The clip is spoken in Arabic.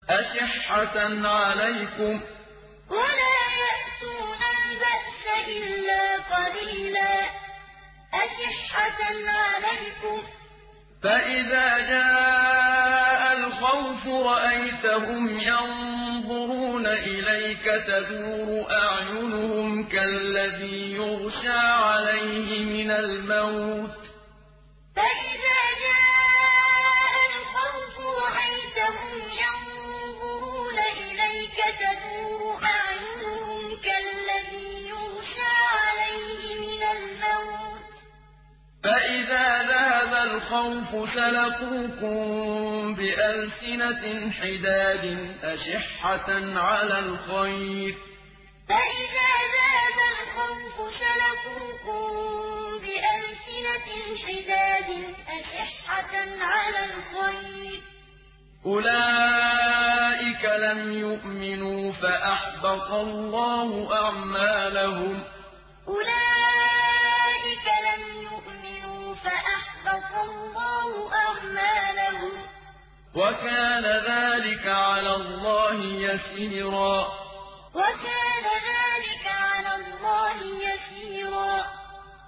أَشِحَّةً عَلَيْكُمْ ۖ فَإِذَا جَاءَ الْخَوْفُ رَأَيْتَهُمْ يَنظُرُونَ إِلَيْكَ تَدُورُ أَعْيُنُهُمْ كَالَّذِي يُغْشَىٰ عَلَيْهِ مِنَ الْمَوْتِ ۖ فَإِذَا ذَهَبَ الْخَوْفُ سَلَقُوكُم بِأَلْسِنَةٍ حِدَادٍ أَشِحَّةً عَلَى الْخَيْرِ ۚ أُولَٰئِكَ لَمْ يُؤْمِنُوا فَأَحْبَطَ اللَّهُ أَعْمَالَهُمْ ۚ وَكَانَ ذَٰلِكَ عَلَى اللَّهِ يَسِيرًا أَشِحَّةً عَلَيْكُمْ ۖ فَإِذَا جَاءَ الْخَوْفُ رَأَيْتَهُمْ يَنظُرُونَ إِلَيْكَ تَدُورُ أَعْيُنُهُمْ كَالَّذِي يُغْشَىٰ عَلَيْهِ مِنَ الْمَوْتِ ۖ فَإِذَا ذَهَبَ الْخَوْفُ سَلَقُوكُم بِأَلْسِنَةٍ حِدَادٍ أَشِحَّةً عَلَى الْخَيْرِ ۚ أُولَٰئِكَ لَمْ يُؤْمِنُوا فَأَحْبَطَ اللَّهُ أَعْمَالَهُمْ ۚ وَكَانَ ذَٰلِكَ عَلَى اللَّهِ يَسِيرًا